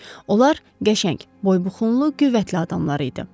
Onlar qəşəng, boybuxunlu, qüvvətli adamlar idi.